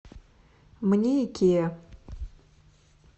мне икеа